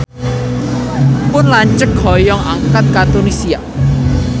Pun lanceuk hoyong angkat ka Tunisia